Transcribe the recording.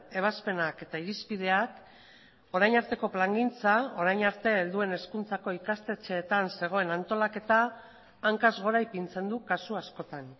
ebazpenak eta irizpideak orain arteko plangintza orain arte helduen hezkuntzako ikastetxeetan zegoen antolaketa hankaz gora ipintzen du kasu askotan